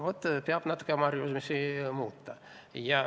Lihtsalt peab natuke oma harjumusi muutma.